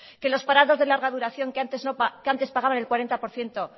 que los parados de larga duración que antes pagaban el cuarenta por ciento